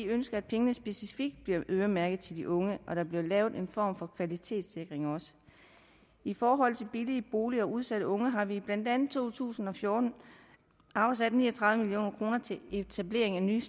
ønsker at pengene specifikt bliver øremærket til de unge og der bliver lavet en form for kvalitetssikring i forhold til billige boliger til udsatte unge har vi blandt andet i to tusind og fjorten afsat ni og tredive million kroner til etablering af nye